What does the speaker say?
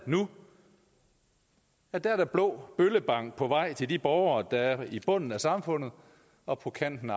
nu der er blå bøllebank på vej til de borgere der er i bunden af samfundet og på kanten